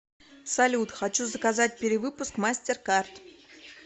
салют хочу заказать перевыпуск мастер карт